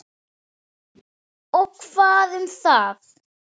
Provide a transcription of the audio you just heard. Og hvað um það?